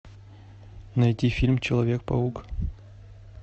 найти фильм человек паук